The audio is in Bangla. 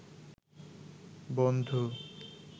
বন্ধু